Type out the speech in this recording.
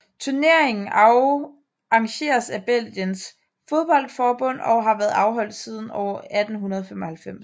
Turneringen arrangeres af Belgiens fodboldforbund og har været afholdt siden år 1895